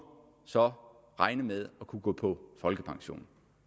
så regne med at kunne gå på folkepension